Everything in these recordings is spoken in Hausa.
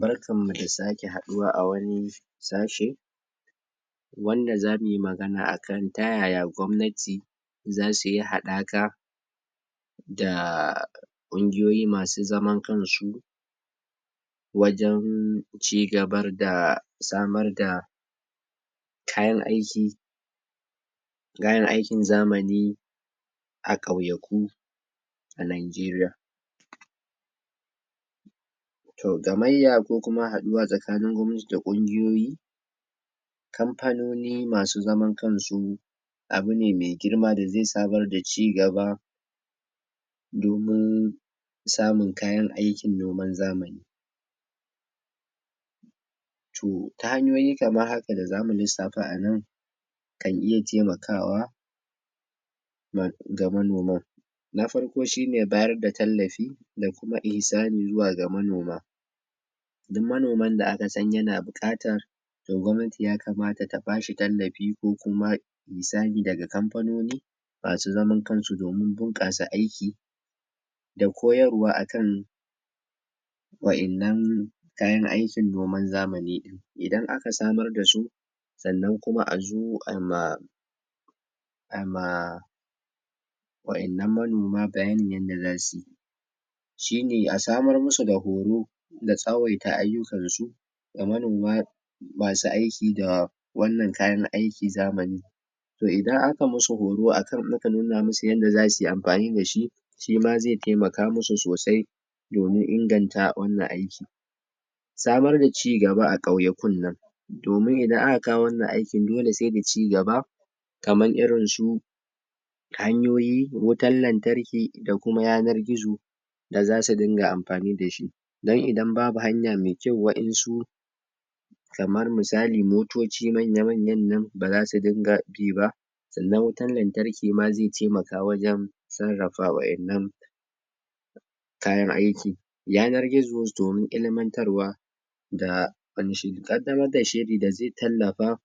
Barkanmu da sake haɗuwa a wani sashe wanda zamu yi magana a kan ta yaya gwamnati za su yi haɗaka da ƙungiyoyi masu zaman kan su wajen cigabar da samar da kayan aiki kayan aikin zamani a ƙauyaku a Najeriya. To gamayya tsakanin gwamati da ƙungiyoyi kamfanoni masu zaman kansu abune mai girma da zai samar da cigaba domin samun kayan aikin noman zamani to ta hanyoyi kamar haka da zamu lissafa a nan kan iya taimakawa? ga manoman Na farko shine bayar da tallafi da ihisani zuwa ga manoma duk manomin da aka sani yana buƙatan to gwamnati ya kamata ta bashi tallafi ko kuma ihisani daga kamfanoni masu zaman kanzu don bunƙasa aiki da koyarwa a kan wa'innan kayan aikin noman zamani idan aka samar da su sannan kuma a zo a ma a ma wa'innan manoma yanda zasu yi shine a samar musu da horo da tsawaita ayyukansu ga manoma masu aiki da wannan kayan aikin zamani to idan aka musu horo aka nuna musu yanda zasu yi amfani da shi shima zai taimaka musu sosai domin inganta wannan aiki samar da cigaba a ƙauyakun nan domin idan aka kawo wannan aikin dole sai da cigaba kaman irin su hanyoyi, wutan lantarki da kuma yanar gizo da zasu dinga amfani da shi don idan babu hanya mai kyau wa'insu kamar misali motoci manya-manyan nan baza su dinga bi ba sannan wutan lantarki ma zai taimaka wajen sarrafa waa'innan kayan aikin yanar gizo domin ilimantarwa da? ƙaddamar da shiri da zai tallafa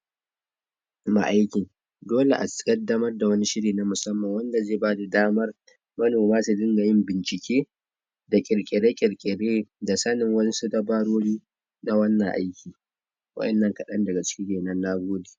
ma aikin dole a ƙaddamar da wani shiri na musamman wanda zai bada damar manoma su dinga yin bincike da ƙirƙire-ƙirƙire da sanin wasu dabarori na wannan aiki wa'innan kaɗan daga ciki kenan. Nagode